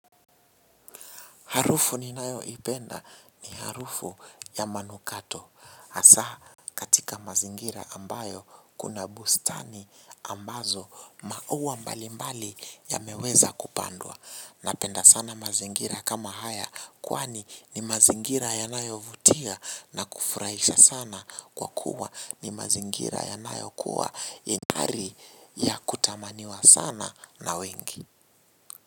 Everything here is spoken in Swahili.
Harufu ninayoipenda ni harufu ya manukato. Hasaa katika mazingira ambayo kuna bustani ambazo maua mbalimbali yameweza kupandwa. Napenda sana mazingira kama haya kwani ni mazingira yanayovutia na kufurahisha sana kwa kuwa ni mazingira yanayokuwa ingari ya kutamaniwa sana na wengi.